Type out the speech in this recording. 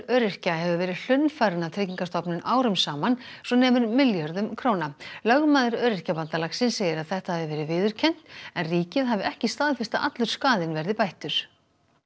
öryrkja hefur verið hlunnfarinn af Tryggingastofnun árum saman svo nemur milljörðum króna lögmaður Öryrkjabandalagsins segir að þetta hafi verið viðurkennt en ríkið hafi ekki staðfest að allur skaðinn verði bættur